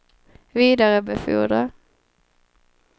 vidarebefordra